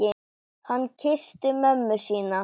Hann kyssti mömmu sína.